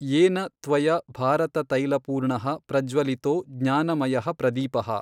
ಯೇನ ತ್ವಯಾ ಭಾರತತೈಲಪೂರ್ಣಃ ಪ್ರಜ್ವಲಿತೋ ಜ್ಞಾನಮಯಃ ಪ್ರದೀಪಃ।